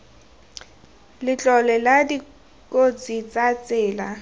letlole la dikotsi tsa tsela